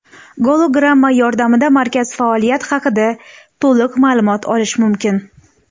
Gologramma yordamida markaz faoliyat haqida to‘liq ma’lumot olish mumkin.